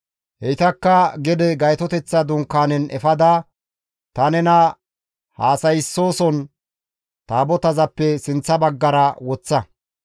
Heytakka gede Gaytoteththa Dunkaanezan efada ta nena haasayssizason Taabotazappe sinththa baggara woththa.